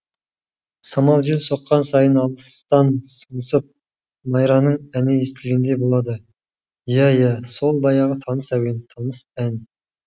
самал жел соққан сайын алыстан сыңсып майраның әні естілгендей болады иә иә сол баяғы таныс әуен таныс ән